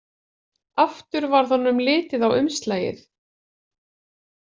Aftur varð honum litið á umslagið.